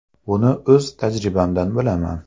Buni o‘z tajribamdan bilaman.